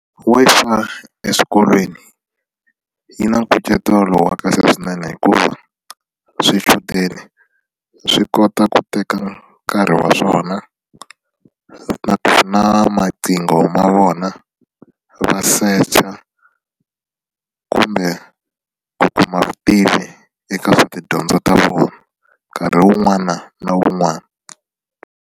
Wi-Fi eswikolweni yi na nkucetelo wa kahle swinene hikuva swichudeni swi kota ku teka nkarhi wa swona na ku na maqingo ma vona va secha kumbe ku kuma vutivi eka swa tidyondzo ta vona nkarhi wun'wana na wun'wana.